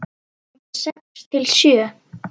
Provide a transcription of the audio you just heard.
Handa sex til sjö